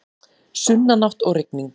Sunnanátt og rigning